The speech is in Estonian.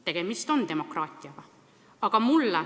Tegemist on tõesti demokraatiaga.